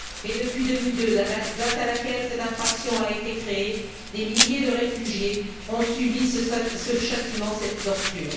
Et depuis 2002, date à laquelle cette infraction a été créée, des milliers de réfugiés ont subi ce châtiment, cette torture.